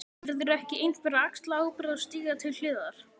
Verður ekki einhver að axla ábyrgð og stíga til hliðar!?